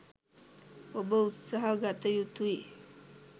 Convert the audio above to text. ඔබ උත්සහ ගත යුතුයි.